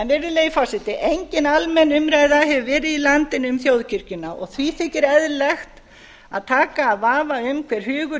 virðulegi forseti engin almenn umræða hefur verið í landinu um þjóðkirkjuna og því þykir eðlilegt að taka af vafa um hver hugur